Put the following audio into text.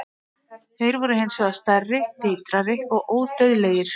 Þeir voru hins vegar stærri, vitrari og ódauðlegir.